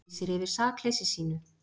Lýsir yfir sakleysi sínu